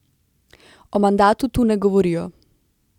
O mandatu tu ne govorijo.